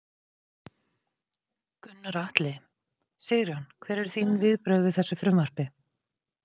Gunnar Atli: Sigurjón, hver eru þín viðbrögð við þessu frumvarpi?